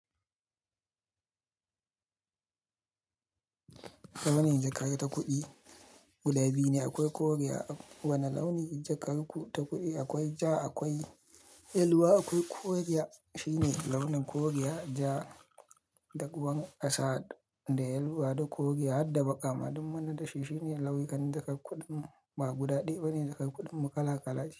Launin jaka ta kuɗi guda biyu ne akwai koriya. Wane launin jakar ku ta kuɗi akwai ja, akwai yeluwa, akwai koriya. Shi ne launin koriya, ja, da ruwar ƙasa da yeluwa da koriya. Hadda baƙama dun munadashi. Shi ne lauyokan du ka kuɗin ba guda ɗaya bane jakar kuɗin mu kala kala ce.